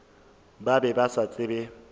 ba be ba sa tsebe